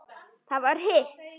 Það var hitt.